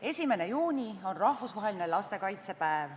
1. juuni on rahvusvaheline lastekaitsepäev.